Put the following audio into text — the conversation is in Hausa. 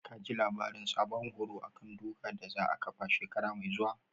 Ka ji labarin sabon horo a kan duka da za a ƙafa shekara mai zuwa?